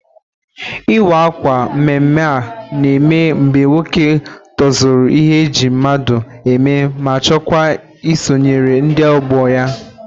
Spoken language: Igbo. Ị́wà ákwà mmemme a na-eme mgbe nwoke tozuru ịhe eji mmadụ eme ma chọkwa isonyere ndị ọgbọ ya.